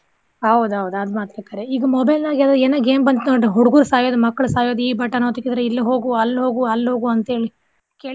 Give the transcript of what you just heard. ಹೌದ ಹೌದ ಅದ್ ಮಾತ್ರ ಕರೆ ಈಗ mobile ನ್ಯಾಗ ಏನೊ game ಬಂತ್ ನೋಡ್ ಹುಡ್ಗುರ್ ಸಾಯೋದ್ ಮಕ್ಕಳ್ ಸಾಯೋದ್ ಈ button ಒತ್ತಿಕಿದ್ರೆ ಇಲ್ಲ್ ಹೋಗು ಅಲ್ಲ್ ಹೋಗು ಅಲ್ಲ್ ಹೋಗು ಅಂತೇಳಿ ಕೇಳಿರಿ.